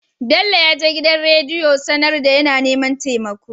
Bello yaje gidan rediyo a sAnar da yAna neman temako